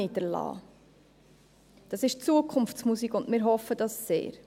Dies ist Zukunftsmusik und wir hoffen dies sehr.